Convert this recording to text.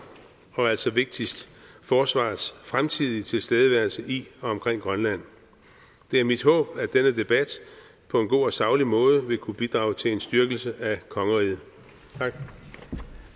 og altså vigtigst forsvarets fremtidige tilstedeværelse i og omkring grønland det er mit håb at denne debat på en god og saglig måde vil kunne bidrage til en styrkelse af kongeriget